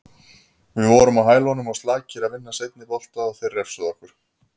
Við vorum á hælunum og slakir að vinna seinni bolta og þeir refsuðu okkur.